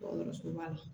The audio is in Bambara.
Dɔgɔtɔrɔso ba la